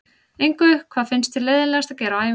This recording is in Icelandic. Engu Hvað finnst þér leiðinlegast að gera á æfingu?